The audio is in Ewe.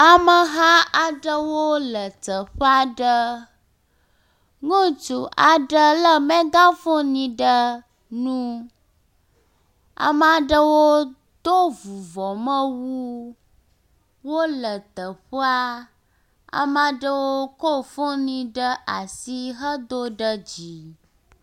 Ameha ɖewo le teƒe aɖe. Ŋutsu aɖe le mega foni ɖe nu. Ame aɖewo do vuvɔmewu. Wo le teƒea. Ame aɖewo kɔ foni ɖe asi hedo ɖe dzi.